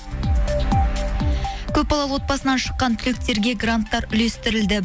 көпбалалы отбасынан шыққан түлектерге гранттар үлестірілді